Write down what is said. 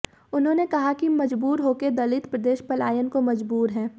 उन्होंने कहा कि मजबूर होकर दलित प्रदेश पलायन को मजबूर है